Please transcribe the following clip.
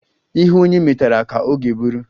Ihe onye metara ka ọ ga-eburu